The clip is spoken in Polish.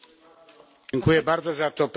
Dziękuję bardzo za to pytanie.